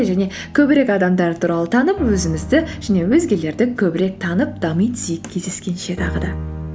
және көбірек адамдар туралы танып өзімізді және өзгелерді көбірек танып дами түсейік кездескенше тағы да